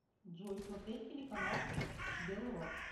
джой смотреть телеканал белрос